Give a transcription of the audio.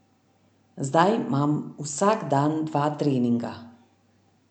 Zdaj imam vsak dan dva treninga.